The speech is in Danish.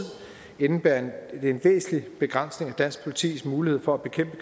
vil indebære en væsentlig begrænsning af dansk politis mulighed for at bekæmpe